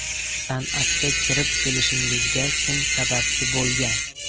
San’atga kirib kelishingizga kim sababchi bo‘lgan?